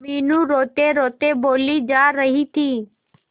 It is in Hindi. मीनू रोतेरोते बोली जा रही थी